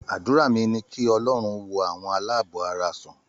Àdúrà mi ní kí Ọlọ́run wo àwọn aláàbọ̀ara sàn.